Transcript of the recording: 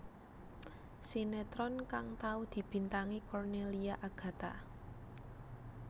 Sinetron kang tau dibintangi Cornelia Agatha